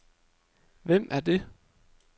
Hvem er det